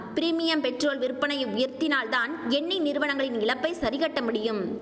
premium petrol விற்பனை உயர்த்தினால் தான் எண்ணெய் நிறுவனங்களின் இழப்பை சரி கட்ட முடியும்